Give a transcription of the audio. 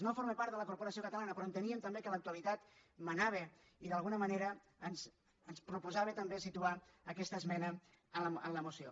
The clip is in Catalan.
no forma part de la corporació catalana però enteníem també que l’actualitat manava i d’alguna manera ens proposava també situar aquesta esmena en la moció